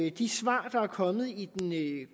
i de svar der er kommet i den